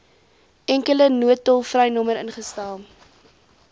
enkele noodtolvrynommer ingestel